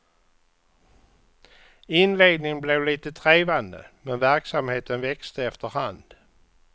Inledningen blev lite trevande, men verksamheten växte efterhand.